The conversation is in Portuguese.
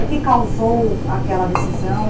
O que causou aquela decisão?